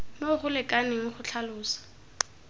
mo go lekaneng go tlhalosa